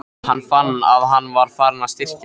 Hann fann, að hann var farinn að styrkjast.